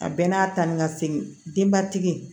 A bɛɛ n'a ta ni ka segin denbatigi